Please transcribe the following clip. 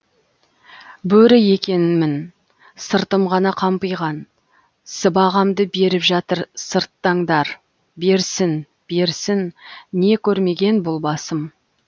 бөрі екен мін сыртым ғана қампиған сыбағамды беріп жатыр сырттаңдар берсін берсін не көрмеген бұл басым